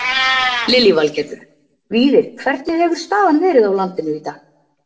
Lillý Valgerður: Víðir hvernig hefur staðan verið á landinu í dag?